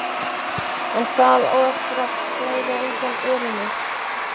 En það á eftir að blæða undan örinni.